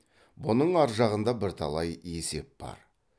бұның аржағында бірталай есеп бар